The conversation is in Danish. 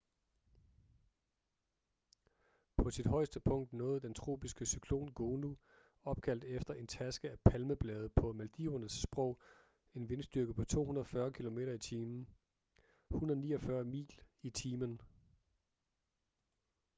på sit højeste punkt nåede den tropiske cyklon gonu opkaldt efter en taske af palmeblade på maldivernes sprog en vindstyrke på 240 kilometer i timen 149 mil i timen